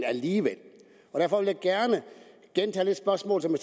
alligevel og derfor vil jeg gerne gentage det spørgsmål som